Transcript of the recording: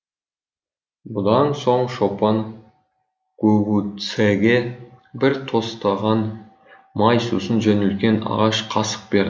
бұдан соң шопан гугуцэге бір тостаған май сусын және үлкен ағаш қасық берді